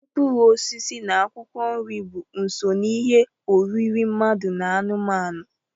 Mkpụrụosisi na akwụkwọ nri bụ so n'ihe oriri mmadu na anụmanụ.